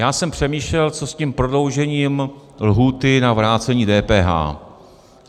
Já jsem přemýšlel, co s tím prodloužením lhůty na vrácení DPH.